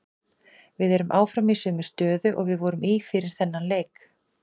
Við erum áfram í sömu stöðu og við vorum í fyrir þennan leik.